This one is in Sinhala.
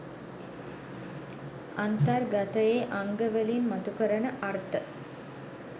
අන්තර්ගතයේ අංගවලින් මතු කරන අර්ථ